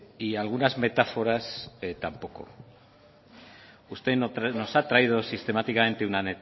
y algunas metáforas tampoco usted nos ha traído sistemáticamente una